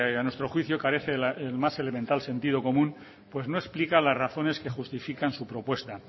a nuestro juicio carece del más elemental sentido común pues no explica las razones que justifican su propuesta